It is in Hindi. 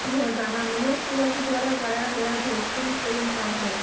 यह गाना मनोज तिवारी द्वारा गाया गया भोजपुरी फिल्म का है